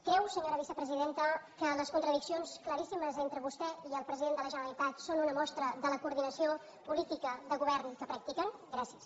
creu senyora vicepresidenta que les contradiccions claríssimes entre vostè i el president de la generalitat són una mostra de la coordinació política de govern que practiquen gràcies